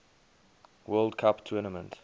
world cup tournament